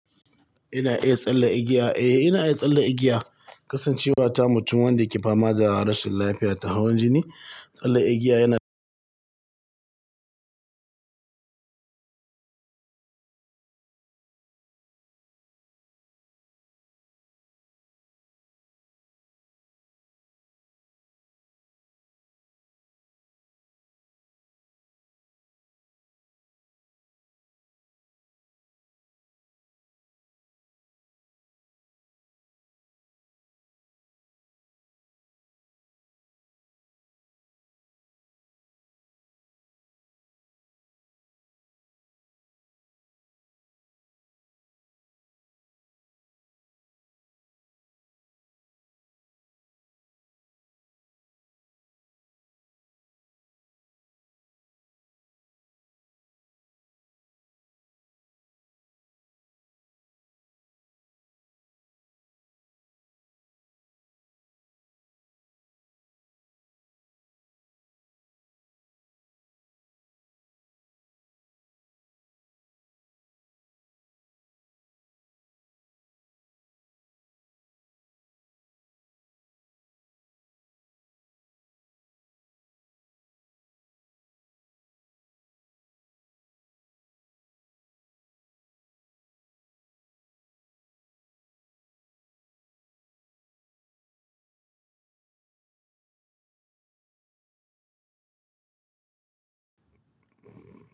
Ina iya tsalle igiya? Eh ina iya tsalle igiya. Kasancewa ta mutum wanda yake fama da rashin lafiya ta hawan jini, tsalle igiya yana.